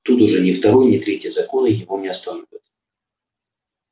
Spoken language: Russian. тут уже ни второй ни третий законы его не остановят